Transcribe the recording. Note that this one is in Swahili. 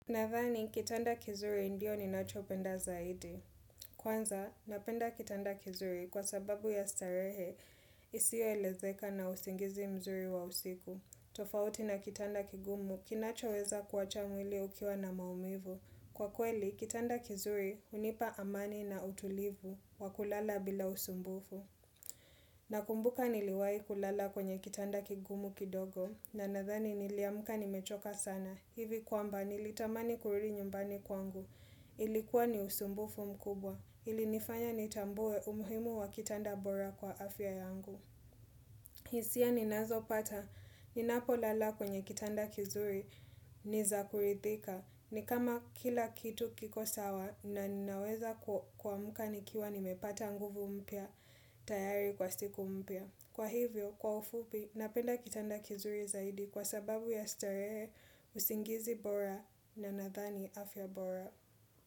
Nadhani, kitanda kizuri ndio ni nacho penda zaidi. Kwanza, napenda kitanda kizuri kwa sababu ya starehe isio elezeka na usingizi mzuri wa usiku. Tofauti na kitanda kigumu kinacho weza kuwacha mwili ukiwa na maumivu. Kwa kweli, kitanda kizuri unipa amani na utulivu wa kulala bila usumbufu. Nakumbuka niliwahi kulala kwenye kitanda kigumu kidogo na nadhani niliamuka nimechoka sana. Hivi kwamba nilitamani kurudi nyumbani kwangu. Ilikuwa ni usumbufu mkubwa. Ilinifanya nitambue umuhimu wa kitanda bora kwa afya yangu. Hisia ninazo pata. Ninapo lala kwenye kitanda kizuri ni za kurithika. Ni kama kila kitu kiko sawa na ninaweza kuamka ni kiwa nimepata nguvu mpya tayari kwa siku mpya. Kwa hivyo, kwa ufupi, napenda kitanda kizuri zaidi kwa sababu ya starehe usingizi bora na na ninathani afya bora.